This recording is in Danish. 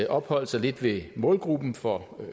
opholde sig lidt ved målgruppen for